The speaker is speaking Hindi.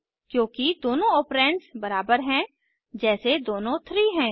क्योंकि दोनों ऑपरैंड्स बराबर हैं जैसे दोनों थ्री हैं